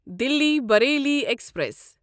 Delhi Bareilly express